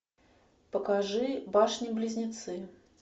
покажи башни близнецы